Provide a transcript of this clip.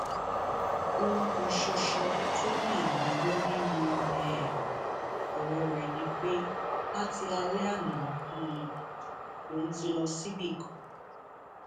ohun kan ṣoṣo tó ní àwọn gbọ nínú um ọrọ rẹ ni pé láti alẹ àná um lòún ti lọ síbì kan